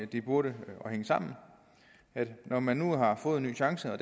det burde hænge sammen når man nu har fået en ny chance og